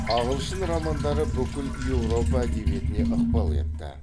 ағылшын романдары бүкіл еуропа әдебиетіне ықпал етті